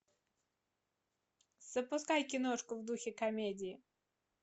запускай киношку в духе комедии